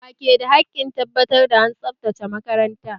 Wa ke da hakkin tabbatar da an tsabtace makaranta?